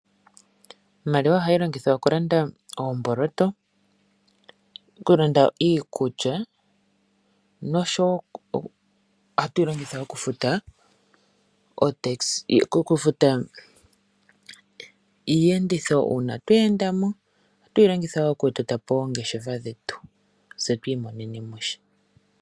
Iimaliwa ohayi longithwa oku landa oomboloto oku landa iikulya noshowo oha tuyi longitha oku futa iiyenditho uuna twe endamo. Oha tuyi longitha oku totapo oongeshefa dhetu tse tu imonenemo sha.